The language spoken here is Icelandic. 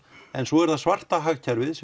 en svo er það svarta hagkerfið